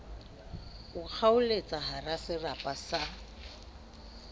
mo kgaoletsa kahara serapa sa